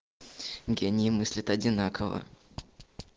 гении мыслят одинаково